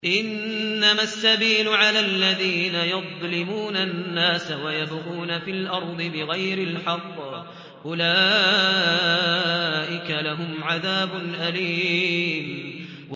إِنَّمَا السَّبِيلُ عَلَى الَّذِينَ يَظْلِمُونَ النَّاسَ وَيَبْغُونَ فِي الْأَرْضِ بِغَيْرِ الْحَقِّ ۚ أُولَٰئِكَ لَهُمْ عَذَابٌ أَلِيمٌ